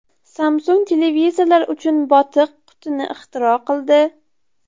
Samsung televizorlar uchun botiq qutini ixtiro qildi.